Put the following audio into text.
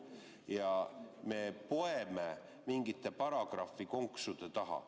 Ja me poeme mingite paragrahvikonksude taha.